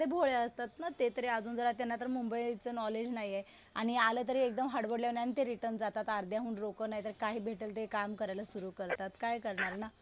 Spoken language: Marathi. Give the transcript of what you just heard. साधेभोळे असतात ना ते. तरी अजून त्यांना तर मुंबईच नॉलेज नाहीये. आणि तर एकदम हडबडल्याने ते रिटर्न जातात. अर्ध्याहून लोकं नाहीतर जे भेटेल ते काम करायला सुरु करतात. काय करणार ना.